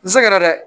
N sɛgɛn na dɛ